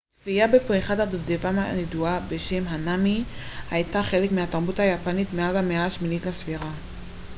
צפייה בפריחת הדובדבן הידועה בשם הנאמי הייתה חלק מהתרבות היפנית מאז המאה השמינית לספירה